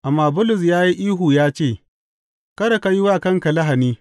Amma Bulus ya yi ihu ya ce, Kada ka yi wa kanka lahani!